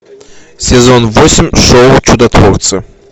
сезон восемь шоу чудотворцы